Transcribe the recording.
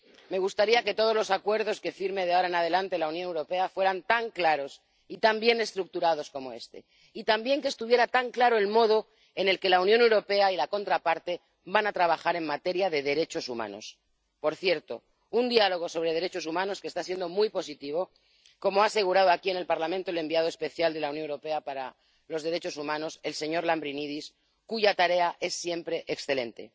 Me gustaría que todos los acuerdos que firme de ahora en adelante la Unión Europea fueran tan claros y tan bien estructurados como este, y también que estuviera tan claro el modo en el que la Unión Europea y la contraparte van a trabajar en materia de derechos humanos —por cierto, un diálogo sobre derechos humanos que está siendo muy positivo, como ha asegurado aquí, en el Parlamento, el representante especial de la Unión Europea para los Derechos Humanos, el señor Lambrinidis, cuya tarea es siempre excelente—